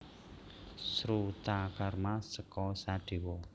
Srutakarma seka Sadewa